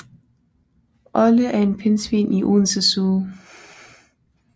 Olde er en pingvin i Odense Zoo